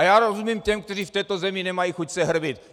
A já rozumím těm, kteří v této zemi nemají chuť se hrbit.